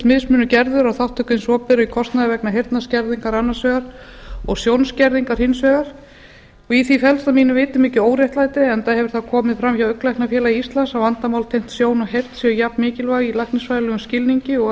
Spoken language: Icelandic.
mismunur gerður á þátttöku hins opinbera í kostnaði vegna heyrnarskerðingar annars vegar og sjónskerðingar hins vegar og því felst að mínu viti mikið óréttlæti enda hefur það komið fram hjá augnlæknafélagi íslands að vandamál tengd sjón og heyrn séu jafnmikilvæg í læknisfræðilegum skilningi og